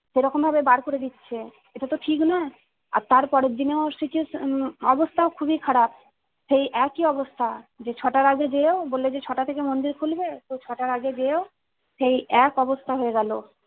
সেরকম ভাবে বার করে দিচ্ছে। এটা তো ঠিক নয় আর তার পরের দিনও situation অবস্থা খুবই খারাপ সেই একই অবস্থা যে ছটার আগে যেও বললো যে ছটা থেকে মন্দির খুলবে তো ছটার আগে যেও সেই এক অবস্থা হয়ে গেলো।